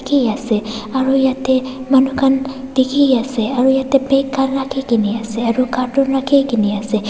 Ki ase aro yatheh manu khan dekhey ase aro yatheh bag khan rakhikena ase aro carton rakhikena ase.